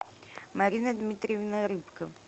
марина дмитриевна рыбка